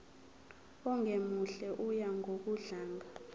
ongemuhle oya ngokudlanga